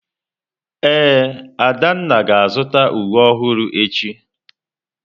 Ee, Adanna ga-azụta uwe ọhụrụ echi.